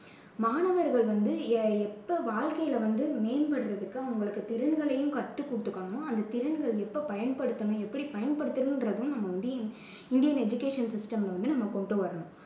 மாணவர்கள் வந்து எ~ எப்போ வாழ்க்கையில் வந்து மேம்படுவதற்கு அவங்களுக்கு திறன்களையும் கத்துக்கொடுத்துக்கணும். அந்தத் திறன்களை எப்போ பயன்படுத்தணும் எப்படி பயன்படுத்தணும்றதும் நம்ம வந்து இந்தியன் இந்தியன் education system ல வந்து நம்ம கொண்டு வரணும்.